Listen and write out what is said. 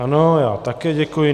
Ano, já také děkuji.